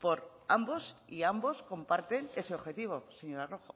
por ambos y ambos comparten ese objetivo señora rojo